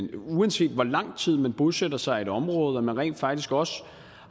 uanset hvor lang tid man bosætter sig i et område rent faktisk også